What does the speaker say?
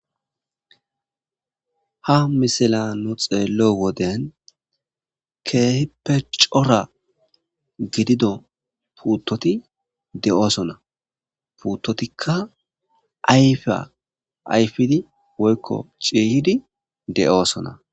ha misala nu xeello woden keehippe cora gidido puuttoti de7oosona puuttotikka ayfya ayfidi woykko ciiyhidi de7oosona